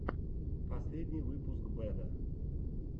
последний выпуск бэда